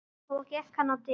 Svo gekk hann á dyr.